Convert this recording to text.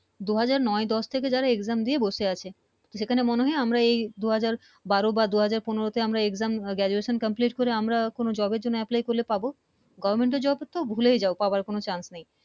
দু হাজার নয় দশ থেকে যারা Exam দিয়ে বসে আছে সেখানে মনে হয় আমরা এই দু হাজার বারো বা দু হাজার পনেরো তে আমরা Exam Graduation Complete করে আমরা কোন Job এর জন্য Apply করলে পাবো Government Job তো ভুলেই যাও পাবার কোন Chance নেই